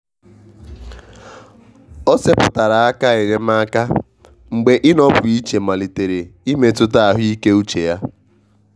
o seputara aka enyemaka mgbe ịnọpụ iche malitere imetụta ahụike uche ya.